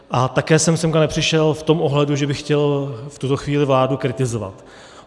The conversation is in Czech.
A také jsem sem nepřišel v tom ohledu, že bych chtěl v tuto chvíli vládu kritizovat.